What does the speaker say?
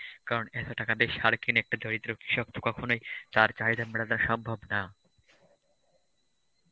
কারণ এত টাকা দিয়ে সার কিনে কখনোই তার চাহিদা মেটানো সম্ভব না.